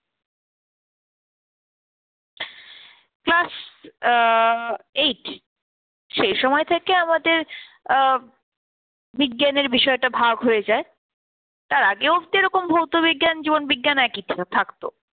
class আহ eight সে সময় থেকে আমাদের আহ বিজ্ঞানের বিষয়টা ভাগ হয়ে যায়। তার আগে অবধি এরকম ভৌতবিজ্ঞান জীবন বিজ্ঞান একই ছিল, থাকত।